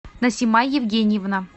насима евгеньевна